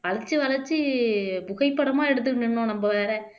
வளைச்சு வளைச்சு புகைப்படமா எடுத்து நின்னோம்